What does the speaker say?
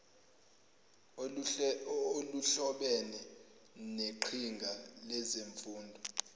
oluhlobene neqhinga lezemfundo